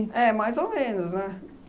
É, mais ou menos, né?